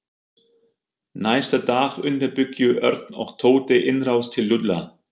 Næsta dag undirbjuggu Örn og Tóti innrás til Lúlla.